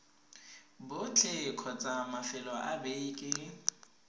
botlhe kgotsa mafelo a beke